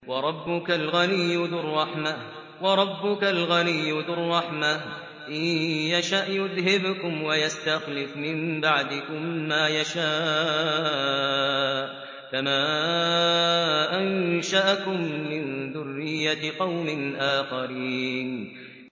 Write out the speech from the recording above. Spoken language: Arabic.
وَرَبُّكَ الْغَنِيُّ ذُو الرَّحْمَةِ ۚ إِن يَشَأْ يُذْهِبْكُمْ وَيَسْتَخْلِفْ مِن بَعْدِكُم مَّا يَشَاءُ كَمَا أَنشَأَكُم مِّن ذُرِّيَّةِ قَوْمٍ آخَرِينَ